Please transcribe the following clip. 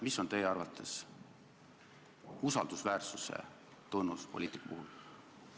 Mis on teie arvates usaldusväärsuse tunnus poliitiku puhul?